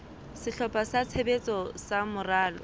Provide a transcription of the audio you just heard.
sehlopha sa tshebetso sa moralo